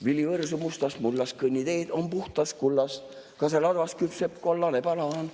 Vili võrsub mustast mullast, kõnniteed on puhtast kullast, kaseladvas küpseb kollane banaan.